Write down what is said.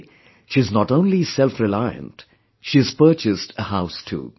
Today, she is not only self reliant; she has purchased a house too